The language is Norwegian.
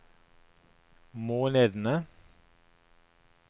månedene